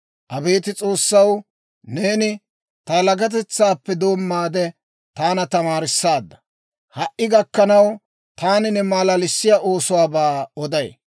Abeet S'oossaw, neeni, ta yalagatetsaappe doommaade taana tamaarissaadda. Ha"i gakkanaw taani ne malalissiyaa oosuwaabaa oday.